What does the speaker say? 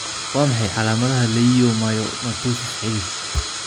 Waa maxay calaamadaha iyo calaamadaha leiomyomatosis xididka?